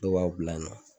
Dɔw b'a bila yan nɔ